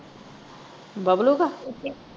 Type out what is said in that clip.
Bablu ਦਾ।